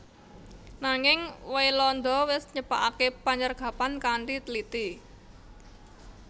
Nanging Waelanda wis nyepakaké panyergapan kanthi tliti